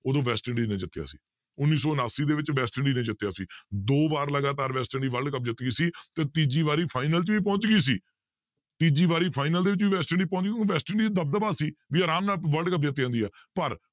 ਉਦੋਂ West Indies ਨੇ ਜਿੱਤਿਆ ਸੀ ਉੱਨੀ ਸੌ ਉਣਾਸੀ ਦੇ ਵਿੱਚ ਵੈਸਟ ਇੰਡੀਜ਼ ਨੇ ਜਿੱਤਿਆ ਸੀ ਦੋ ਵਾਰ ਲਗਾਤਾਰ ਵੈਸਟ ਇੰਡੀ world ਕੱਪ ਜਿੱਤ ਗਈ ਸੀ ਤੇ ਤੀਜੀ ਵਾਰੀ final 'ਚ ਵੀ ਪਹੁੰਚ ਗਈ ਸੀ ਤੀਜੀ ਵਾਰੀ final ਦੇ ਵਿੱਚ ਵੀ ਵੈਸਟ ਇੰਡੀਜ਼ ਪਹੁੰਚ ਗਈ ਵੈਸਟ ਇੰਡੀ ਦਬ ਦਬਾ ਸੀ ਵੀ ਆਰਾਮ ਨਾਲ world ਕੱਪ ਜਿੱਤ ਜਾਂਦੀ ਹੈ